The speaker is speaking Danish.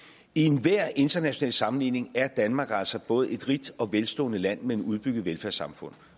i enhver international sammenligning er danmark altså både et rigt og velstående land med et udbygget velfærdssamfund